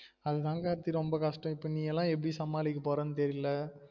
அது தான் கார்த்தி ரொம்ப கஷ்டம் இப்ப நீ எல்லாம் எப்டி சமாளிக்க போரனு தெரில